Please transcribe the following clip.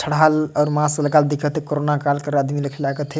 चढ़ल अउ मास्क लगाए दिखथे कोरोना काल कर आदमी दिख लाय कथे।